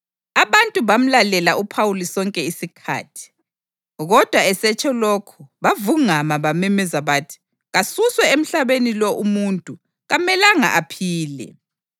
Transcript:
Abantu bamlalela uPhawuli sonke isikhathi, kodwa esetsho lokhu bavungama bamemeza bathi, “Kasuswe emhlabeni lo umuntu! Kamelanga aphile!”